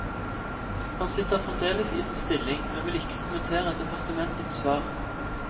Han sitter fremdeles i sin stilling, men vil ikke kommentere departementets svar.